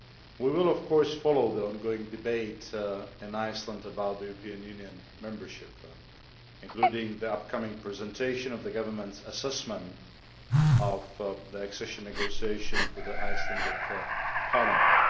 We will, of course, follow the on going debate in Iceland about European Union membership, including the upcoming presentation of the government's assessment of the accession negotiations to the Icelandic Parliament.